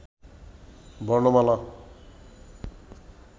বর্ণমালা